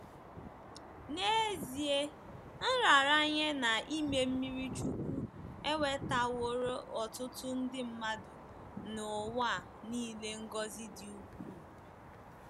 N’ezie, nraranye na ime mmiri chukwu ewetaworo ọtụtụ nde mmadụ n’ụwa nile ngọzi dị ukwuu.